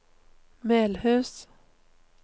Melhus